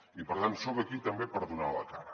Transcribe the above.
i per tant soc aquí també per donar la cara